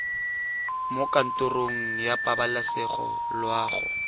mo kantorong ya pabalesego loago